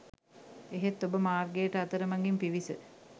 එහෙත් ඔබ මාර්ගයට අතර මගින් පිවිස